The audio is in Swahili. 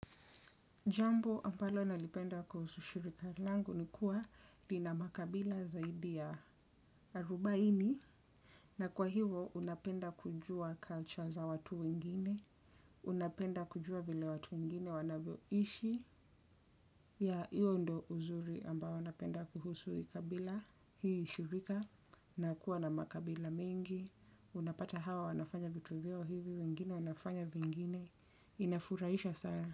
Jambo ambalo nalipenda kuhusu shirika langu ni kuwa lina makabila zaidi ya arubaini. Na kwa hivyo unapenda kujua culture za watu wengine. Unapenda kujua vile watu wengine wanavyoishi. Hiyo ndio uzuri ambao napenda kuhusu hii kabila hii shirika na kuwa na makabila mengi. Unapata hawa wanafanya vitu vyao hivi, wengine wanafanya vingine. Inafurahisha sana.